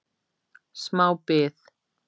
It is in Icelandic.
smá bið